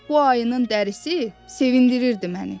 Bu ayının dərisi sevindirirdi məni.